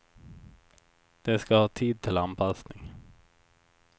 De skall ha tid till anpassning.